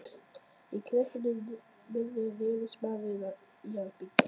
Í kreppunni miðri réðist maðurinn í að byggja.